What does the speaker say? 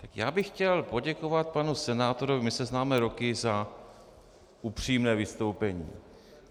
Tak já bych chtěl poděkovat panu senátorovi, my se známe roky, za upřímné vystoupení.